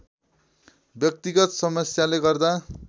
व्यक्तिगत समस्याले गर्दा